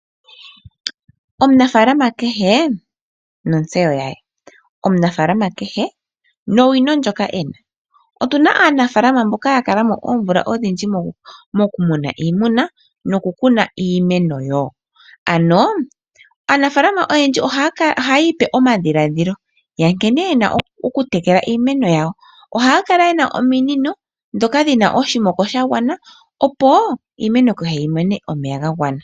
Omunafalama kehe nontseyo yaye, omunafalama kehe nowino ndjoka ena, otuna aanafalama mboka ya kala mo oomvula odhindji mokumuna iimuna noku kuna iimeno. Aanafalama oyendji ohayi pe edhiladhilo lyankene yena oku kuna iimeno yawo ohaya kala yena ominino dhoka dhina oshimoko sha gwana opo iimeno yawo yi mone omeya ga gwana.